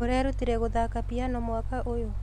ũrerutire gũthaka piano mwaka ũyũ?